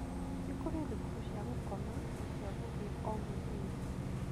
Nĩ kũrĩ thukuru cia gũkoma na cia gũthiĩ o-mũthenya.